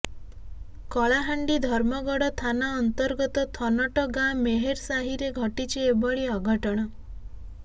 କଳାହାଣ୍ଡି ଧର୍ମଗଡ଼ ଥାନା ଅନ୍ତର୍ଗତ ଥନଟ ଗାଁ ମେହେର୍ ସାହିରେ ଘଟିଛି ଏଭଳି ଅଘଟଣ